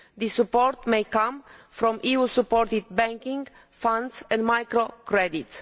This support may come from EU supported banking, funds and microcredit.